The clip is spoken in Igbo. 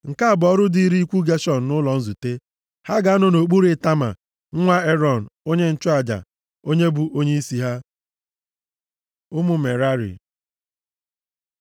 Nke a bụ ọrụ dịịrị ikwu Geshọn nʼụlọ nzute. Ha ga-anọ nʼokpuru Itama, nwa Erọn, onye nchụaja, onye bụ onyeisi ha. Ụmụ Merari